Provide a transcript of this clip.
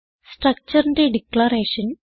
structureന്റെ declaration